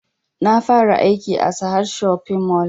Na fara aiki a sahad shopping mall